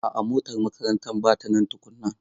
A'a motar makarantar ba ta nan tukunan.